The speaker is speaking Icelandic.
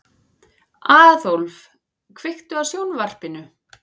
Aðólf, kveiktu á sjónvarpinu.